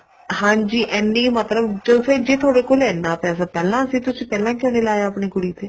ਹਾਂਜੀ ਐਨੀ ਮਤਲਬ ਜ਼ੇ ਫ਼ੇਰ ਤੁਹਾਡੇ ਕੋਲ ਐਨਾ ਪੈਸਾ ਪਹਿਲਾਂ ਸੀ ਤੁਸੀਂ ਪਹਿਲਾਂ ਕਿਉਂ ਨਹੀਂ ਲਾਇਆ ਆਪਣੀ ਕੁੜੀ ਤੇ